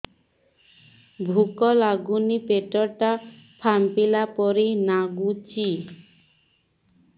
ଭୁକ ଲାଗୁନି ପେଟ ଟା ଫାମ୍ପିଲା ପରି ନାଗୁଚି